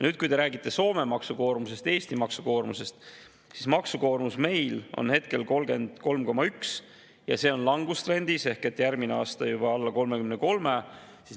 Nüüd, kui te räägite Soome maksukoormusest ja Eesti maksukoormusest, siis maksukoormus on meil praegu 33,1%, ja see on langustrendis ehk järgmine aasta on juba alla 33%.